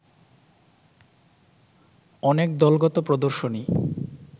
অনেক দলগত প্রদর্শনী